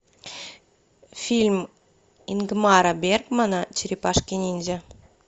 фильм ингмара бергмана черепашки ниндзя